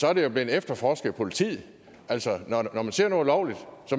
er det blevet efterforsket af politiet altså når man ser noget ulovligt